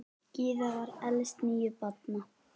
Gyða var elst níu barna.